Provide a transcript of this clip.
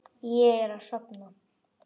Ég er að sofna.